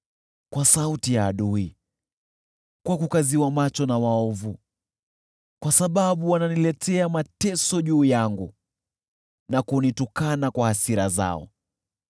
kwa sauti ya adui, kwa kukaziwa macho na waovu, kwa sababu wananiletea mateso juu yangu na kunitukana kwa hasira zao.